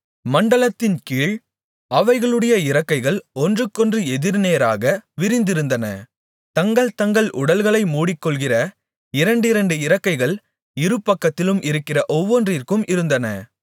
மண்டலத்தின்கீழ் அவைகளுடைய இறக்கைகள் ஒன்றுக்கொன்று எதிர்நேராக விரிந்திருந்தன தங்கள்தங்கள் உடல்களை மூடிக்கொள்ளுகிற இரண்டிரண்டு இறக்கைகள் இருபக்கத்திலும் இருக்கிற ஒவ்வொன்றுக்கும் இருந்தன